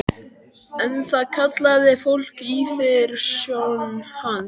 En það kallaði fólk yfirsjón hans.